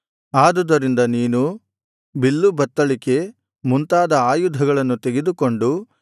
ಆದುದರಿಂದ ನೀನು ಬಿಲ್ಲು ಬತ್ತಳಿಕೆ ಮುಂತಾದ ಆಯುಧಗಳನ್ನು ತೆಗೆದುಕೊಂಡು